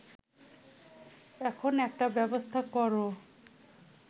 এখন একটা ব্যবস্থা কর